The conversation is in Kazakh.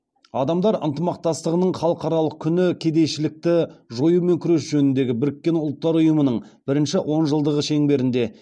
адамдар ынтымақтастығының халықаралық күні кедейшілікті жоюмен күрес жөніндегі біріккен ұлттар ұйымының бірінші онжылдығы шеңберінде